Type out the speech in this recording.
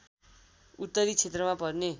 उत्तरी क्षेत्रमा पर्ने